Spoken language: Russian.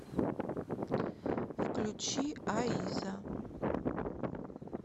включи а иза